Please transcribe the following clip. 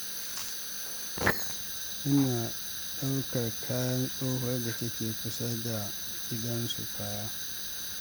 Yana ɗaukar wa tsohuwar da take kusa da gidansu kaya.